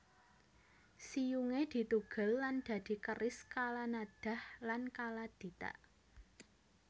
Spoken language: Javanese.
Siyungé ditugel lan dadi keris Kalanadhah lan Kaladhita